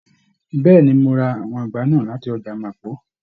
Bẹẹni, Mo ra àwọn ìgbá náà láti ọjà Mapo.